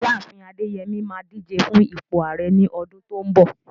Ìyá àfin Adeyemi máa díje fún ipò Ààrẹ ní ọdún tó ń bọ̀.